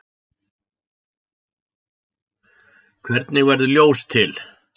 Hvernig verður ljós til?